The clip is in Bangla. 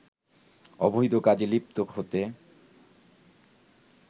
অবৈধ কাজে লিপ্ত হতে